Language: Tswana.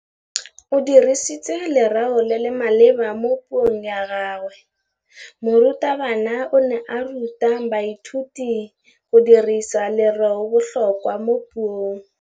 O dirisitse lerêo le le maleba mo puông ya gagwe. Morutabana o ne a ruta baithuti go dirisa lêrêôbotlhôkwa mo puong.